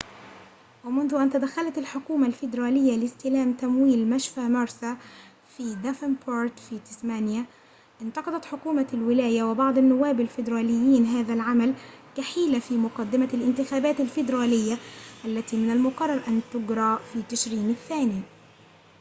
ومنذ أن تدخّلت الحكومة الفيدرالية لاستلام تمويل مشفى ميرسي في دافنبورت في تسمانيا انتقدت حكومة الولاية وبعض النواب الفيدراليين هذا العمل كحيلة في مقدمة الانتخابات الفيدرالية التي من المقرر أن تجرى في تشرين الثاني